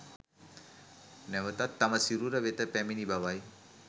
නැවතත් තම සිරුර වෙත පැමිණි බවයි.